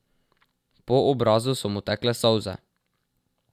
Po obrazu so mu tekle solze.